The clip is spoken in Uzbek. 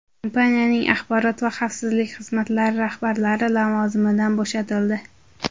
Kompaniyaning axborot va xavfsizlik xizmatlari rahbarlari lavozimidan bo‘shatildi.